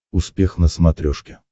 успех на смотрешке